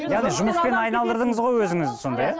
яғни жұмыспен айналдырдыңыз ғой өзіңізді сонда иә